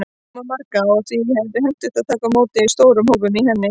Kirkjan rúmar marga, og því er hentugt að taka á móti stórum hópum í henni.